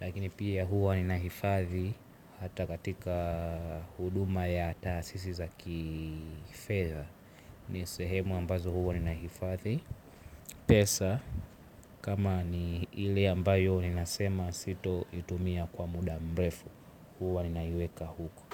Lakini pia huwa ninahifadhi hata katika huduma ya taasisi za kifedha. Ni sehemu ambazo huwa ninahifadhi pesa. Kama ni ile ambayo ninasema sito itumia kwa muda mrefu huwa ninaiweka huko.